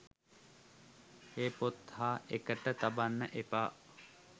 ඒ පොත් හා එකට තබන්න එපා